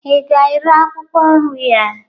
ị ga-ere akwụkwọ nri a?